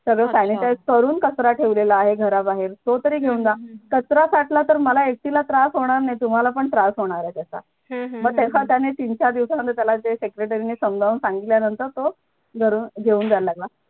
तर त्याने तर ठरून कचरा ठेवलेला आहे घराबाहेर तो तरी घेऊन जा कचरा काढला तर मला एकटीला त्रास होणार नाही तुम्हाला पण त्रास होणार आहे त्याचा मग त्याचा त्यांनी तीन चार दिवसानंतर त्याला जे secretary ने समजावून सांगितल्यानंतर तो घरून घेऊन जायला लागला